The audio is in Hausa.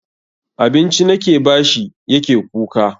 Abinci nake bashi yake kuka.